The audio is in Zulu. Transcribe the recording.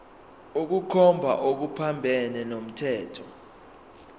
ukukhomba okuphambene nomthetho